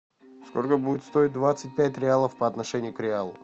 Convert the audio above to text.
сколько будет стоить двадцать пять реалов по отношению к реалу